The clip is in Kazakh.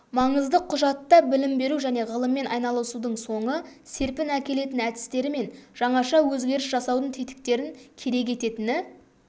маңызды құжатта білім беру және ғылыммен айналысудың соңы серпін әкелетін әдістері мен жаңаша өзгеріс жасаудың тетіктерін керек ететіні